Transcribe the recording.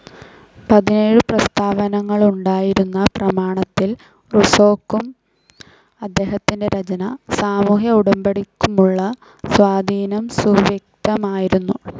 പതിനേഴു പ്രസ്താവങ്ങളുണ്ടായിരുന്ന പ്രമാണത്തിൽ റുസ്സോക്കും അദ്ദേഹത്തിൻ്റെ രചന, സാമൂഹ്യ ഉടമ്പടിക്കുമുള്ള സ്വാധീനംസുവ്യക്തമായിരുന്നു.